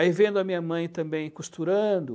Aí vendo a minha mãe também costurando.